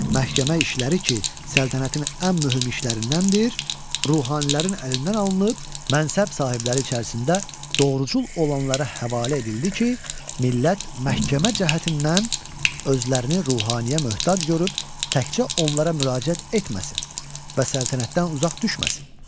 Məhkəmə işləri ki, səltənətin ən mühüm işlərindəndir, ruhanilərin əlindən alınıb, mənsəb sahibləri içərisində doğrucul olanlara həvalə edildi ki, millət məhkəmə cəhətdən özlərini ruhaniyə möhtac görüb, təkcə onlara müraciət etməsin və səltənətdən uzaq düşməsin.